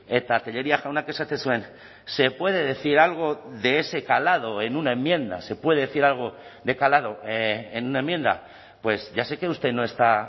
eta tellería jaunak esaten zuen se puede decir algo de ese calado en una enmienda se puede decir algo de calado en una enmienda pues ya sé que usted no está